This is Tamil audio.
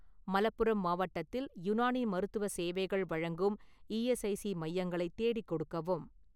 மலப்புரம் மாவட்டத்தில் யுனானி மருத்துவ சேவைகள் வழங்கும் இ.எஸ்.ஐ.சி மையங்களை தேடிக் கொடுக்கவும்